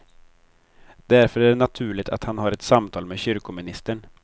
Därför är det naturligt att han har ett samtal med kyrkoministern.